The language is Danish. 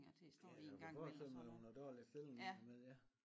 Ja jeg kunne forestille mig det var nogle dårlige stillinger ind imellem ja